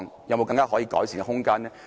有沒有可改善的空間呢？